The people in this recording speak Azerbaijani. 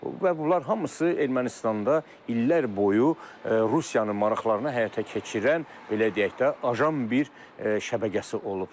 Və bunlar hamısı Ermənistanda illər boyu Rusiyanın maraqlarını həyata keçirən, belə deyək də, ajan bir şəbəkəsi olub.